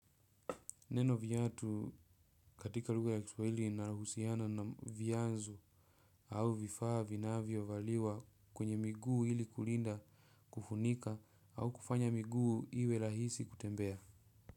Neno viatu katika lugha ya kiswahili linahusiana na viazu au vifaa vinavyo valiwa kwenye miguu ili kulinda kufunika au kufanya miguu iwe rahisi kutembea.